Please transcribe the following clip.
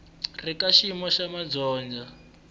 ri ka xiyimo xa madyondza